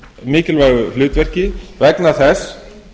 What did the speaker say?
mikilvægu hlutverki vegna þess